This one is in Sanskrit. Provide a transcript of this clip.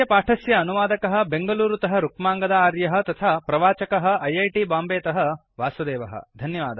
अस्य पाठस्य अनुवादकः बेङ्गलूरुतः रुक्माङ्गद आर्यः तथा प्रवाचकः ऐऐटि मुम्बैतः वासुदेवः